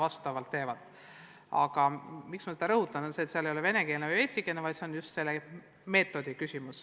Aga ma rõhutan seda seepärast, et seal ei ole küsimus venekeelses või eestikeelses õppes, vaid just metoodikas.